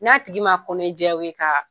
N'a tigi ma kɔnɔnea jɛy'aw ye ka